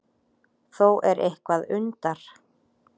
Þó er eitthvað undar